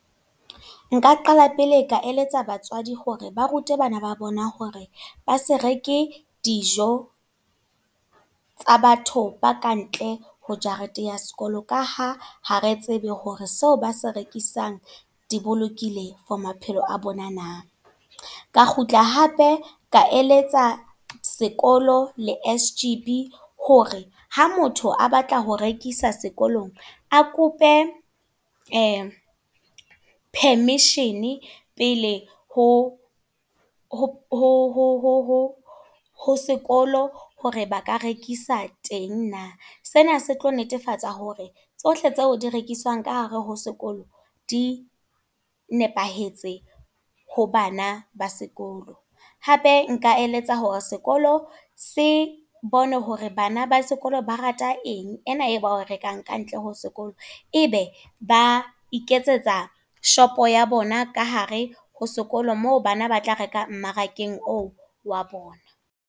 Nka qala pele ka eletsa batswadi hore ba rute bana ba bona hore ba se reke dijo, tsa batho ba kantle ho jareteng ya sekolo. Ka ha ha re tsebe hore seo ba se rekisang di bolokile for maphelo a bona na. Ka kgutla hape, ka eletsa sekolo le S_G_B, hore ha motho a batla ho rekisa sekolong. A kope permission pele ho sekolo, hore ba ka rekisa teng na. Sena se tlo netefatsa hore tsohle tseo di rekiswang ka hare ho sekolo, di nepahetse ho bana ba sekolo. Hape nka eletsa hore sekolo se bone hore bana ba sekolo ba rata eng, ena e ba e rekang ka ntle ho sekolo. E be ba iketsetsa shop-o ya bona ka hare ho sekolo moo bana ba tla reka mmarakeng oo wa bona.